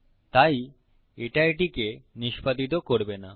তাই এটা এটিকে নিষ্পাদিত করবে না